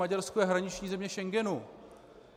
Maďarsko je hraniční země Schengenu.